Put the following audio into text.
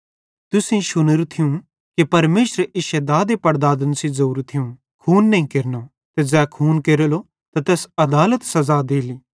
तुसेईं शुनेरू थियूं कि परमेशरे इश्शे दादेपड़दादन सेइं ज़ोरू थियूं खून नईं केरनो ते ज़ै खून केरेलो त तैस आदालत सज़ा देली